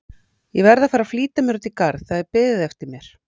Ég verð að flýta mér út í garð, það er beðið eftir mér.